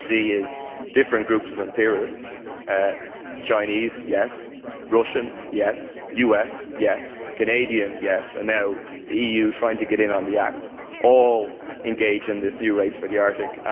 What we see is different groups of imperialists Chinese, yes, Russian, yes, US, yes, Canadian, yes, and now the EU trying to get in on the act, all engaged in this new race for the Arctic.